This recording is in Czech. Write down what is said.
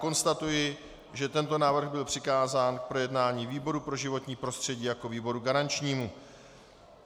Konstatuji, že tento návrh byl přikázán k projednání výboru pro životní prostředí jako výboru garančnímu.